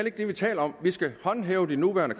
ikke det vi taler om vi skal håndhæve de nuværende